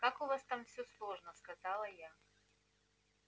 как у вас там все сложно сказала я